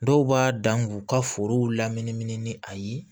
Dɔw b'a dan k'u ka forow laminimini ni a ye